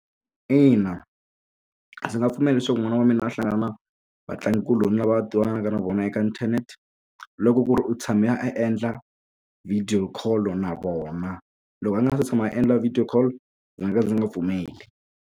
Ina ndzi nga pfumeli leswaku n'wana wa mina a hlangana na vatlangikuloni lava a twananaka na vona eka inthanete loko ku ri u tshame a endla video call na vona loko a nga se tshama a endla video call ndzi nga ka ndzi nga pfumeli.